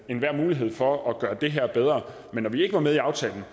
enhver mulighed for at gøre det her bedre men når vi ikke var med i aftalen